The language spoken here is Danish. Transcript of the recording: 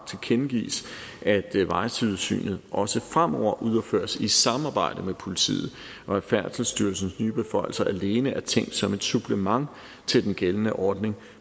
tilkendegives at vejsidesynet også fremover udføres i samarbejde med politiet og at færdselsstyrelsens nye beføjelser alene er tænkt som et supplement til den gældende ordning